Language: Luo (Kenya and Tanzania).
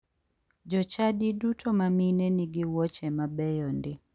Jochadi duto ma mine nigi wuoche mabeyo ndi.